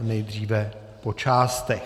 nejdříve po částech.